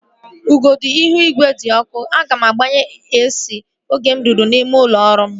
Ọnọdụ ihu igwe di ọkụ. Aga m agbaghe AC oge m ruru n'ime ụlọ ọrụ m